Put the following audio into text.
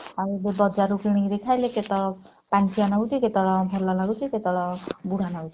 ଆଉ ବଜାରରୁ କିଣିକିରି ଖାଇଲେ କେତେବେଳେ ପାଣିଚିଆ ଲାଗୁଛି କେତେବେଳେ ଭଲ ଲାଗୁଛି କେତେବେଳେ ବୁଢା ନାଗୁଛି।